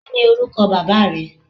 Kí ni orúkọ baba rẹ?